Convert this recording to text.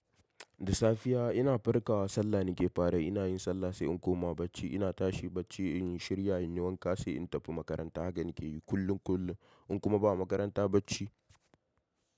Da safiya ina farkawa sallah nike farayi, ina yin sallah sai in koma bacci. Ina tashi bacci in yi shirya in yi wanka sai in tafi makaranta. Haka nike yi kullum kullum in kuma ba makaranta bacci.